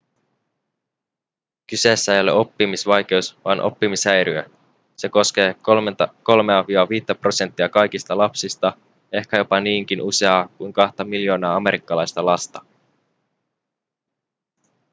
kyseessä ei ole oppimisvaikeus vaan oppimishäiriö se koskee 3-5 prosenttia kaikista lapsista ehkä jopa niinkin useaa kuin kahta miljoonaa amerikkalaista lasta